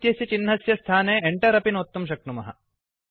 इत्यस्य चिह्नस्य स्थाने Enter अपि नोत्तुं शक्नुमः